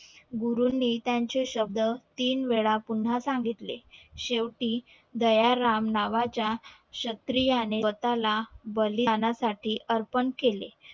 गुरु नि त्याचे शब्द तीन वेळा पुन्हा सांगिलते शेवटी दयाराम नावा च्या क्षत्रियाने स्वतःला बलिदान साठी अर्पण केले